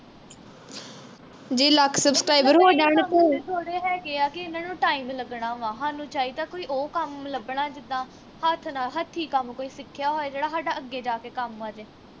ਥੋੜੇ ਹੈਂਗੇ ਆ ਕਿ ਇਨ੍ਹਾਂ ਨੂੰ. time ਲੱਗਣਾ ਵਾਂ ਹਾਨੂੰ ਚਾਹੀਦਾ ਕੋਈ ਉਹ ਕੰਮ ਲੱਭਣਾ ਜਿੱਦਾ ਹੱਥ ਨਾਲ ਹੱਥੀ ਕੰਮ ਕੋਈ ਸਿਖਿਆ ਹੋਵੇ ਜਿਹੜਾ ਹਾਡਾ ਅੱਗੇ ਜਾ ਕੇ ਕੰਮ ਜੇ